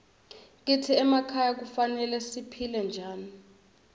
kitsi emakhaya kufanele siphile njani